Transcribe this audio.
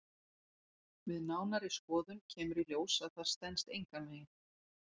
Við nánari skoðun kemur í ljós að það stenst engan veginn.